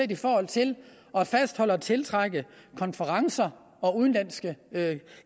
i forhold til at fastholde og tiltrække konferencer og udenlandske